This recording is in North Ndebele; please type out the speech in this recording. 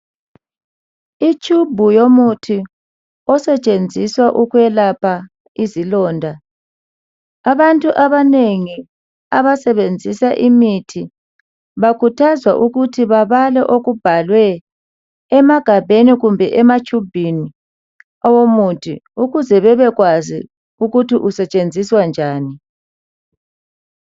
i tshubhu yomuthi esetshenziswa ukwelapha izilonda abantu abanengi abasebenzisa imithi bakhuthazwa ukuthi babale okubhalwe emagabheni kumbe ematshubhini omuthi ukuze bebekwazi ukuthi usetshenziswa njani